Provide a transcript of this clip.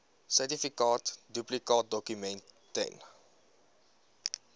sertifikaat duplikaatdokument ten